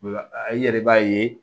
I yɛrɛ b'a ye